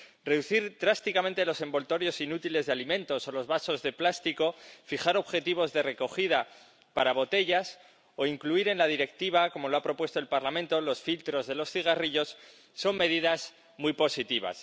Reducir drásticamente los envoltorios inútiles de alimentos o los vasos de plástico, fijar objetivos de recogida para botellas o incluir en la Directiva —como lo ha propuesto el Parlamento— los filtros de los cigarrillos son medidas muy positivas.